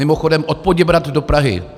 Mimochodem, od Poděbrad do Prahy.